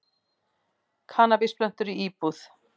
Kannabisplöntur í íbúð